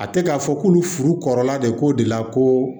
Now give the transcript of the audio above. A tɛ k'a fɔ k'olu furukɔrɔla de k'o de la ko